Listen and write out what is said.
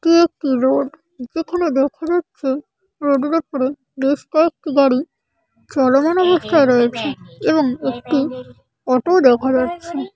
টি একটি রড যেখানে দেখা যাচ্ছে রোডের উপরে বেশ কয়েকটি গাড়ি চলমান অবস্থায় রয়েছে এবং একটি অটো দেখা যাচ্ছে ।